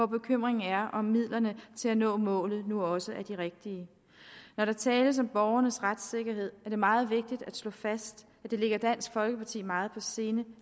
bekymringen er om midlerne til at nå målet nu også er de rigtige når der tales om borgernes retssikkerhed er det meget vigtigt at slå fast at det ligger dansk folkeparti meget på sinde